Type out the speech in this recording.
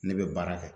Ne bɛ baara kɛ